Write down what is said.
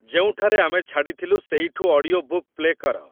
ଯେଉଁଠାରେ ଆମେ ଛାଡ଼ିଥିଲୁ ସେଇଠୁ ଅଡିଓ ବୁକ୍ ପ୍ଲେ କର